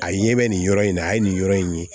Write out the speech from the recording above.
A ye bɛ nin yɔrɔ in na a ye nin yɔrɔ in ye